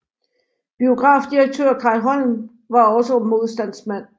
Biografdirektør Kai Holm var også modstandsmand